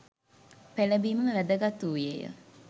පෙළඹීම වැදගත් වූයේ ය.